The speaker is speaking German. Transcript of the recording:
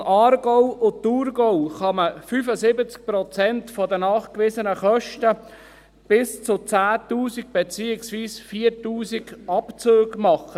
In den Kantonen Aargau und Thurgau kann man 75 Prozent der nachgewiesenen Kosten bis 10 000 Franken, beziehungsweise bis 4000 Franken in Abzug bringen.